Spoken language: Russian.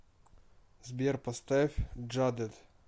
сбер поставь джадед